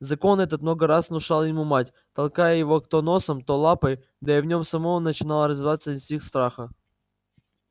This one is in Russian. закон этот много раз внушала ему мать толкая его то носом то лапой да и в нем самом начинал развиваться инстинкт страха